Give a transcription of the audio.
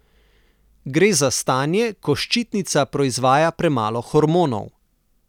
Gre za stanje, ko ščitnica proizvaja premalo hormonov.